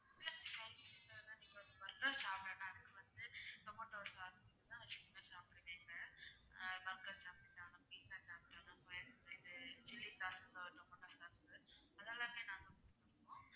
நீங்க வந்து சாப்டனும்னா அதுக்கு வந்து zomato order சாப்பிடுவீங்க ஆஹ் burger சாப்பிட்டாலும் pizza சாப்பிட்டாலும் chilly sauce tomato sauce அதெல்லாமே நாங்க கொடுத்திருவோம்